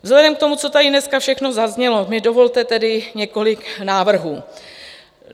Vzhledem k tomu, co tady dneska všechno zaznělo, mi dovolte tedy několik návrhů.